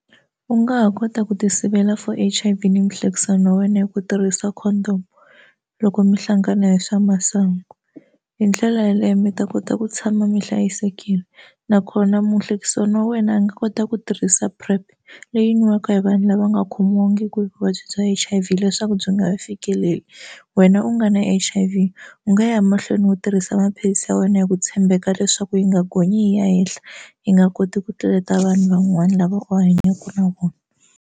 U nga ha kota ku ti sivela for H_I_V ni muhlekisani wa wena hi ku tirhisa Condom loko mi hlangana hi swa masangu hi ndlela yaleyo mi ta kota ku tshama mi hlayisekile nakona muhlekisani wa wena a nga kota ku tirhisa Prep leyi nwiwaka hi vanhu lava nga khomiwangiki hi vuvabyi bya H_I_V leswaku byi nga fikeleli wena u nga na H_I_V u nga ya mahlweni u tirhisa maphilisi ya wena hi ku tshembeka leswaku yi nga gonyi yi ya henhla yi nga koti ku tluleta vanhu van'wana lava u hanyaka na vona.